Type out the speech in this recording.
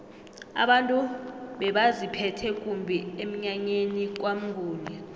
abantu bebaziphethe kumbi emnyanyeni kwamnguni